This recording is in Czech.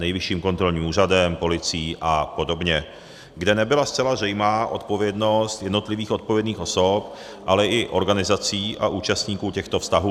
Nejvyšším kontrolním úřadem, policií a podobně, kde nebyla zcela zřejmá odpovědnost jednotlivých odpovědných osob, ale i organizací a účastníků těchto vztahů.